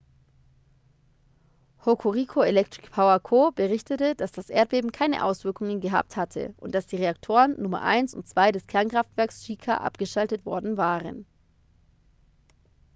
hokuriku electric power co. berichtete dass das erdbeben keine auswirkungen gehabt hatte und dass die reaktoren nummer 1 und 2 des kernkraftwerks shika abgeschaltet worden waren